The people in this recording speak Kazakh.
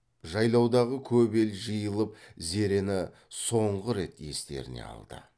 жайлаудағы көп ел жиылып зерені соңғы рет естеріне алды